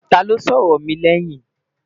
tá ló sọ ọrọ mí lèyìn?